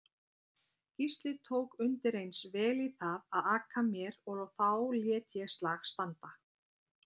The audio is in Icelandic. Gísli tók undireins vel í það að aka mér og þá lét ég slag standa.